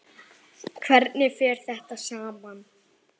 Hvernig fer þetta saman?